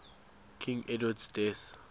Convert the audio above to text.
king edward's death